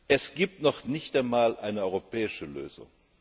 Es gibt noch nicht einmal eine europäische Lösung.